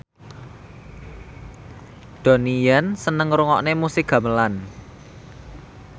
Donnie Yan seneng ngrungokne musik gamelan